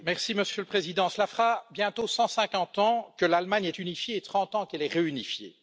Monsieur le Président, cela fera bientôt 150 ans que l'Allemagne est unifiée et 30 ans qu'elle est réunifiée.